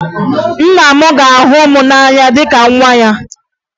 Nna m ga-ahụ m n'anya dịka nwa ya